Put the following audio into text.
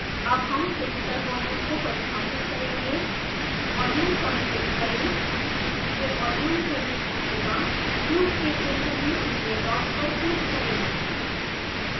अब हम physical volume को परिभाषित करेंगे volume पर क्लिक करें यह volume के लिए पूछेगा क्यूब के केंद्र में पीले डॉट पर क्लिक करें